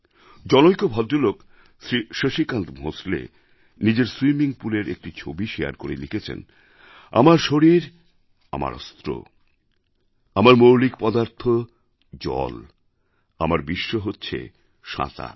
জনৈক ভদ্রলোক শ্রী শশিকান্ত ভোঁসলে নিজের স্বিমিং Poolএর একটি ছবি শারে করে লিখেছেন আমার শরীর আমার অস্ত্র আমার মৌলিক পদার্থ জল আমার বিশ্ব হচ্ছে সাঁতার